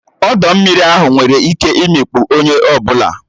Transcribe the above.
Ọdọ mmiri ahụ nwere ike imikpu onye ọ bụla